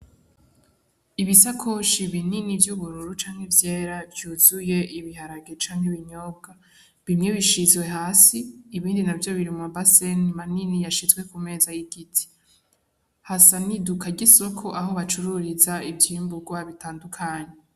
Ibisakoshi binini vy'ubururu canke ivyera vy'uzuye ibiharage canke ibiyoba bimwe bishizwe hasi ibindi navyo biri mu mabase manini yashizwe ku meza y'igiti hasa n'iduka ry'isoko aho bacururiza ivyimburwa bitandukanye.